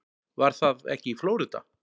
Var það ekki í Flórída?